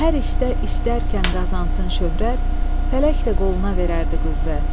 Hər işdə istərkən qazansın şöhrət, fələk də qoluna verərdi qüvvət.